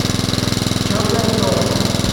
черное золото